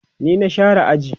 ni na share aji